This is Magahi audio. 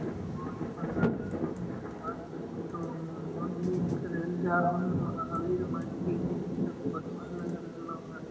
इ होइ लग रहल हो मनवा के फोटो मनवा हाउ मनुआ जिम करे ला जा हाउ न महावीर मुलती मल्टी जिम की फोटोवा लग रहल हो |